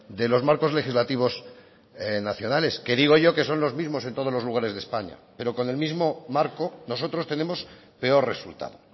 de los marcos legislativos nacionales que digo yo que son los mismos en todos los lugares de españa pero con el mismo marco nosotros tenemos peor resultado